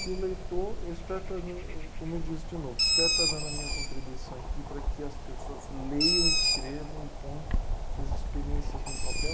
Que o leitor, eu espero estar dando, ahn, como eu disse de novo, espero estar dando a minha contribuição aqui para que as pessoas leiam, escrevam e ponham suas experiências no papel.